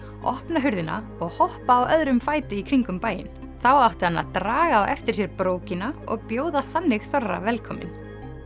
opna hurðina og hoppa á öðrum fæti í kringum bæinn þá átti hann að draga á eftir sér brókina og bjóða þannig þorra velkominn